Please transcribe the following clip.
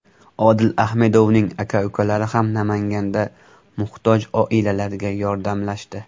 Odil Ahmedovning aka-ukalari ham Namanganda muhtoj oilalarga yordamlashdi .